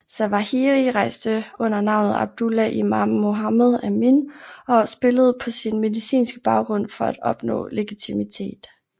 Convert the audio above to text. Zawahiri rejste under navnet Abdullah Imam Mohammed Amin og spillede på sin medicinske baggrund for at opnå legitimitet